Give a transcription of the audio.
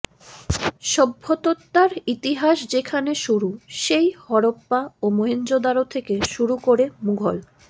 সভত্যতার ইতিহাস যেখানে শুরু সেই হরোপ্পা ও মাহেঞ্জোদারো থেকে শুরু করে মুঘল